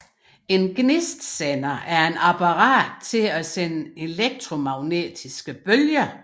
En gnistsender er et apparat til at sende elektromagnetiske bølger